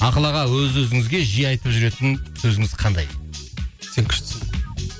ақыл аға өз өзіңізге жиі айтып жүретін сөзіңіз қандай сен күштісің